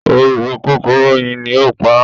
“oró kòkòrò oyin” ni ó pa á.